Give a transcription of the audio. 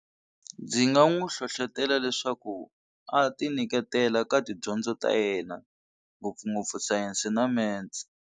Ndzi nga n'wi hlohlotela leswaku a ti nyiketela ka tidyondzo ta yena ngopfungopfu Science na Maths.